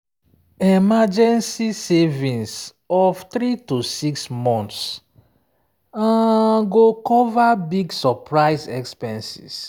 emergency savings of 3–6 months um um go cover big surprise expenses.